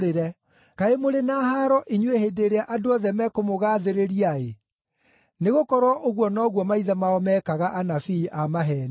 Kaĩ mũrĩ na haaro inyuĩ hĩndĩ ĩrĩa andũ othe mekũmũgaathĩrĩria-ĩ, nĩgũkorwo ũguo noguo maithe mao meekaga anabii a maheeni.